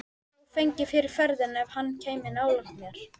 Sá fengi fyrir ferðina ef hann kæmi nálægt þér.